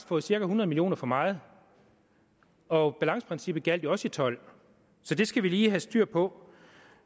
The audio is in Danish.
fået cirka hundrede million kroner for meget og balanceprincippet gjaldt jo også i tolv så det skal vi lige have styr på